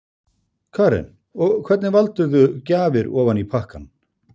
Karen: Og hvernig valdirðu gjafir ofan í pakkann?